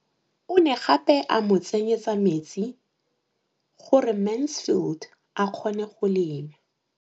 O ne gape a mo tsenyetsa metsi gore Mansfield a kgone go lema.